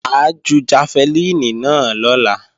Mà á ju jafẹlíìnì náà lọ́la